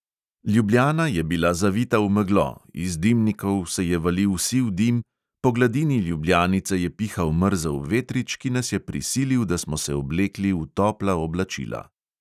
Ljubljana je bila zavita v meglo, iz dimnikov se je valil siv dim, po gladini ljubljanice je pihal mrzel vetrič, ki nas je prisilil, da smo se oblekli v topla oblačila.